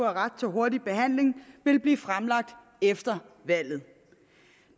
ret til hurtig behandling ville blive fremlagt efter valget